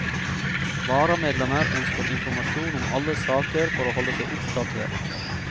Varamedlemmer ønsker informasjon om alle saker for å holde seg oppdatert.